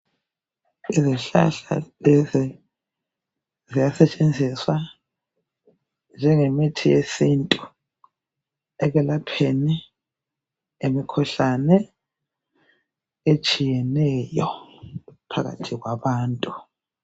Izihlahla lezi ziyasetshenziswa njengemithi yesintu ekwelapheni imikhuhlane etshiyeneyo phakathi kwabantu